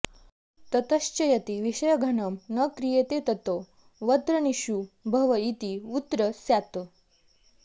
ततश्च यदि विषयघणं न क्रियते ततो वत्र्तनीषु भव इति वुञ् स्यात्